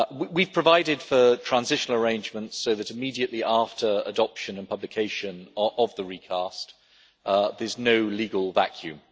We provided for transitional arrangements so that immediately after adoption and publication of the recast there is no legal vacuum.